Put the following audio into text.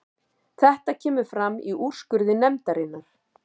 Þetta kemur fram í úrskurði nefndarinnar